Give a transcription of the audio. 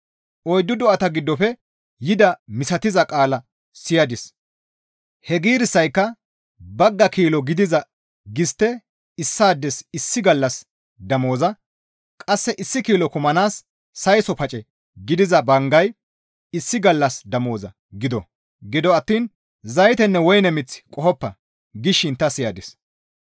Oyddu do7ata giddofe yidaa misatiza qaala siyadis; he giirissayka, «Bagga kilo gidiza gistte issaades issi gallassa damoza, qasse issi kilo kumanaas sayso pace gidiza banggay issi gallassa damoza gido; gido attiin zaytenne woyne mith qohoppa» gishin ta siyadis.